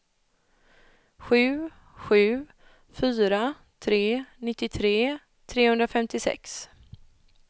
sju sju fyra tre nittiotre trehundrafemtiosex